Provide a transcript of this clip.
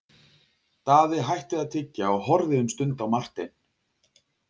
Daði hætti að tyggja og horfði um stund á Martein.